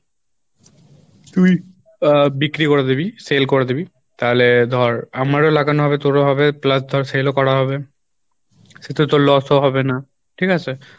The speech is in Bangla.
তুই আহ বিক্রি করে দিবি sell করে দিবি তাহলে ধর আমারও লাগানো হবে তোরও হবে plus ধর sell ও করা হবে সেতে তোর loss ও হবে না ঠিক আছে?